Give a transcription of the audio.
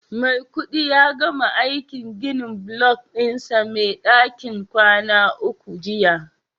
Maikudi ya gama aikin ginin block dinsa Mai dakin kwana uku jiya